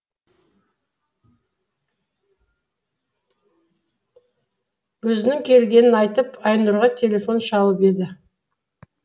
өзінің келгенін айтып айнұрға телефон шалып еді